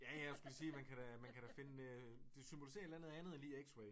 Ja ja jeg skulle sige man kan da man kan da finde det det symboliserer et eller andet end lige X-ray